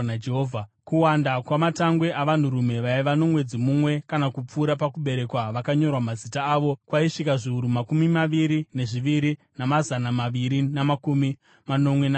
Kuwanda kwamatangwe avanhurume vaiva nomwedzi mumwe kana kupfuura pakuberekwa vakanyorwa mazita avo, kwaisvika zviuru makumi maviri nezviviri, namazana maviri namakumi manomwe navatatu.